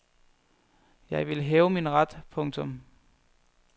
Jeg vil have min ret. punktum